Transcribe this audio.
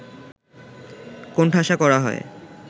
কোণঠাসা করা হয়